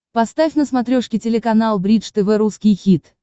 поставь на смотрешке телеканал бридж тв русский хит